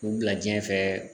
K'u bila diɲɛ fɛ